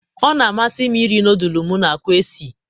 ọ na-amasị m iri nọdụlụ m na akwa sie.